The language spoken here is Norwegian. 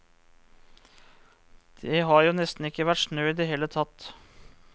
Det har jo nesten ikke vært snø i det hele tatt.